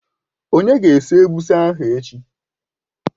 Onye ga-esi Egusi ahụ echi?